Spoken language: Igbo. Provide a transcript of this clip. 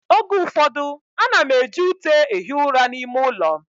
Oge ụfọdụ, ana m eji ute ehi ụra n'ime ụlọ m